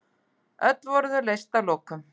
Öll voru þau leyst að lokum.